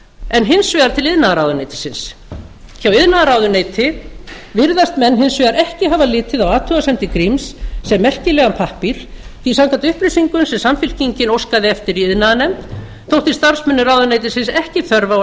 en hin vegar til iðnaðarráðuneytisins hjá iðnaðarráðuneyti virðast menn hins vegar ekki hafa litið á athugasemdir gríms sem merkilegan pappír því að samkvæmt upplýsingum sem samfylkingin óskaði eftir í iðnaðarnefnd þótti starfsmönnum ráðuneytisins ekki þörf á að